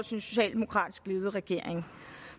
socialdemokratisk ledet regering